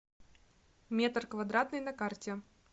метр квадратный на карте